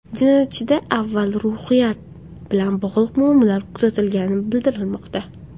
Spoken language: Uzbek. Jinoyatchida avval ruhiyat bilan bog‘liq muammolar kuzatilgani bildirilmoqda.